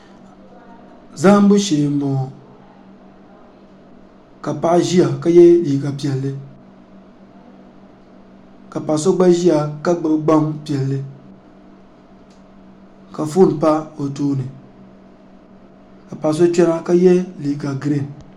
zahibu shɛɛ n.buŋɔ ka paɣ' ʒɛya ka yɛ liga piɛli ka paɣ' so gba ʒɛya ka gbabi gbanpiɛli ka ƒɔni pa bi tuuni ka paɣ' so kpɛna ka yɛ liga girin